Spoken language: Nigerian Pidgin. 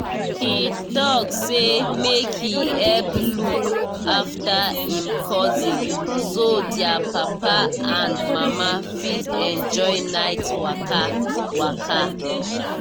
he talk say make he help look after him cousin so their papa and mama fit enjoy night waka. waka.